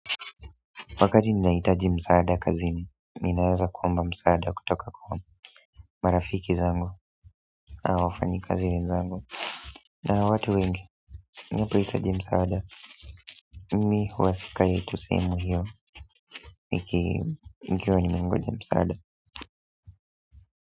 Wakati ninahitaji msaada kazini, ninaweza kuomba msaada kutoka kwa marafiki zangu, na wafanyikazi wenzangu na watu wengi, nilipohitaji msaada, mimi huwa sikai tu sehemu hiyo, nikiwa nimengoja msaada.